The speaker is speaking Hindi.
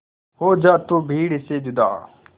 हो जा तू भीड़ से जुदा